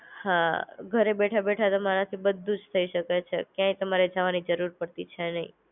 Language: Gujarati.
હા! ઘરે બેઠા બેઠા તમારાથી બધુજ થઇ શકે છે. ક્યાંયે તમારે જવાની જરૂરત પડતી છે નઈ